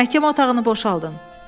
Məhkəmə otağını boşaldın.